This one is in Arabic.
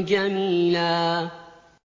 جَمِيلًا